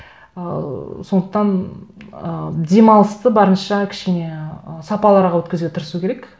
ыыы сондықтан ы демалысты барынша кішкене ы сапалырақ өткізуге тырысу керек